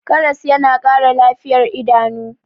karas yana Kara lafiyar idanu